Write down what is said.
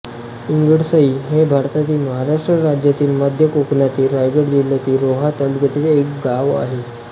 पिंगळसई हे भारतातील महाराष्ट्र राज्यातील मध्य कोकणातील रायगड जिल्ह्यातील रोहा तालुक्यातील एक गाव आहे